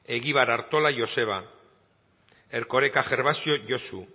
egibar artola joseba erkoreka gervasio josu